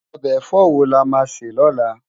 Òbe èfò wó lá má sè lólá?